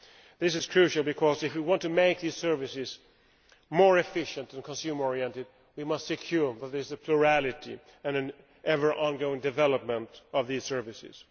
This is crucial because, if we want to make these services more efficient and consumer oriented, we must secure the plurality and ever ongoing development of these services.